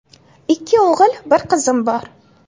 Ikki o‘g‘il, bir qizim bor.